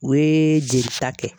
O ye jelita kɛ.